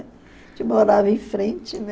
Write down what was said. A gente morava em frente, né?